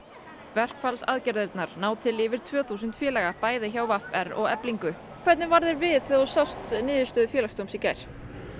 verkfallsaðgerðirnar ná til yfir tvö þúsund félaga hjá v r og Eflingu hvernig varð þér við þegar þú sást niðurstöðu Félagsdóms í gær